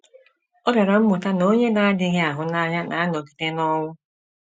Ọ bịara mụta na “ onye na - adịghị ahụ n’anya na - anọgide n’ọnwụ.